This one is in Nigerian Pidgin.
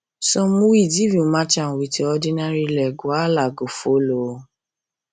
some weeds if you match am with your ordinary leg wahala go follow o